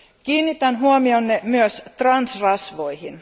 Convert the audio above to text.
Kiinnitän huomionne myös transrasvoihin.